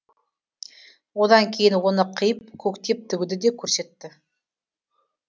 одан кейін оны қиып көктеп тігуді де көрсетті